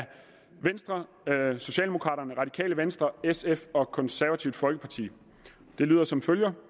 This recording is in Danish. venstre socialdemokraterne radikale venstre sf og det konservative folkeparti det lyder som følger